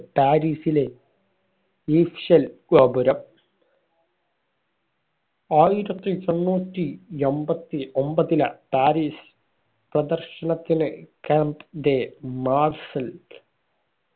പാരിസിലെ Eiffel ഗോപുരം ആയിരത്തി എണ്ണൂറ്റി എമ്പതി ഒമ്പതിലാണ് പാരീസ് പ്രാദർശനത്തിന് camp ന്റെ മാർസൽ